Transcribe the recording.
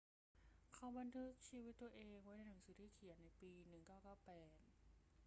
เขาบันทึกชีวิตตัวเองไว้ในหนังสือที่เขียนในปี 1998